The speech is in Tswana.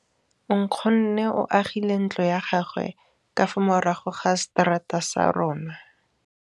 Nkgonne o agile ntlo ya gagwe ka fa morago ga seterata sa rona.